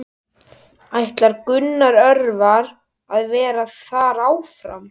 Ætlar Gunnar Örvar að vera þar áfram?